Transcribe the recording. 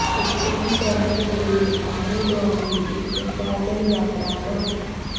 ਉੱਤਰੀ ਸ਼ਹਿਰ ਦੇ ਆਲੇ ਦੁਆਲੇ ਇੱਕ ਪੈਦਲ ਯਾਤਰਾ ਕਰੋ